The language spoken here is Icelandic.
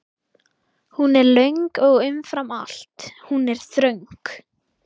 Hún er löng og umfram allt: Hún er þröng.